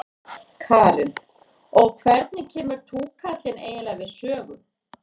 Karen: Og hvernig kemur túkallinn eiginlega við sögu?